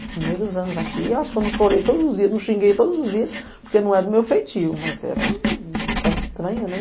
Os primeiros anos aqui, acho que eu não chorei todos os dias, não xinguei todos os dias, porque não era do meu feitio, mas era uma terra estranha, né?